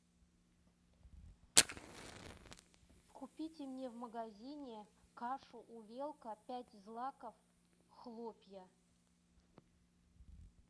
купите мне в магазине кашу увелка пять злаков хлопья